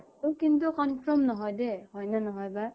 অ কিন্তু confirm নহয় দে, হয়নে নহয় বা।